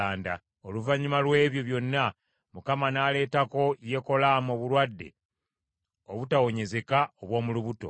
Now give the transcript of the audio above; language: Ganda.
Oluvannyuma lw’ebyo byonna, Mukama n’aleetako Yekolaamu obulwadde obutawonyezeka obw’omu lubuto.